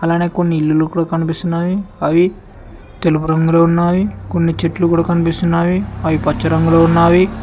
అలాగే కొన్ని ఇల్లు కూడా కనిపిస్తున్నాయి అవి తెలుపు రంగులో ఉన్నావి కొన్ని చెట్లు కూడా కనిపిస్తున్నాయి అవి పచ్చ రంగులో ఉన్నవి.